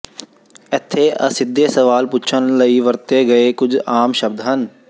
ਇੱਥੇ ਅਸਿੱਧੇ ਸਵਾਲ ਪੁੱਛਣ ਲਈ ਵਰਤੇ ਗਏ ਕੁਝ ਆਮ ਸ਼ਬਦ ਹਨ